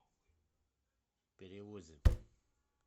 перевозе